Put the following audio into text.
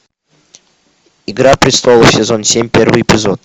игра престолов сезон семь первый эпизод